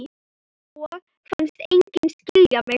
Og fannst enginn skilja mig.